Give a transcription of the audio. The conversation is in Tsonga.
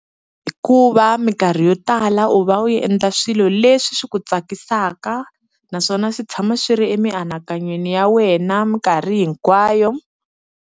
Hikuva minkarhi yo tala u va u endla swilo leswi swi ku tsakisaka naswona swi tshama swi ri emianakanyweni ya wena minkarhi hinkwayo.